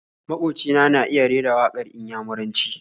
Maƙoci na ya iya rera waƙar Inyamuranci.